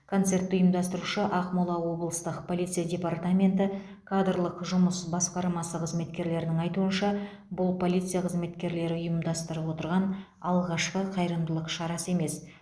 концертті ұйымдастырушы ақмола облыстық полиция департаменті кадрлық жұмыс басқармасы қызметкерлерінің айтуынша бұл полиция қызметкелері ұйымдастырып отырған алғашқы қайырымдылық шарасы емес